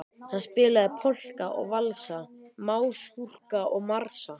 Hann spilaði polka og valsa, masúrka og marsa.